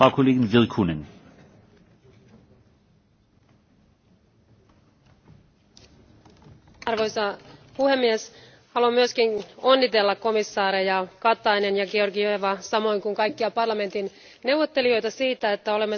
Arvoisa puhemies, haluan myös onnitella komissaareja Kataista ja Georgiavaa samoin kuin kaikkia parlamentin neuvottelijoita siitä, että olemme saaneet kaikkia osapuolia hyvin tyydyttävän lopputuloksen tästä tärkeästä EFSIstä.